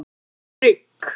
Frigg